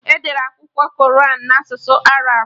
Edere Akwụkwọ Koran na asụsụ Arab